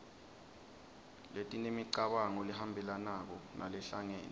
letinemicabango lehambelanako nalehlangene